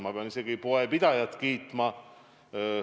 Ma pean poepidajat kiitma.